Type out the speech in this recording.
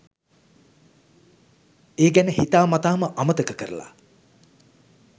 ඒ ගැන හිතා මතාම අමතක කරලා